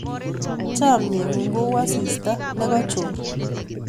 Chamnyengung ko u asista ne kachor